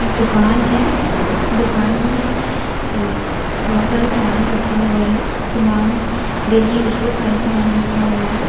इक दुकान है दुकान में ए बहोत सारा समान रखा हुआ है समान डेली यूज़ का सारा समान रखा हुआ है।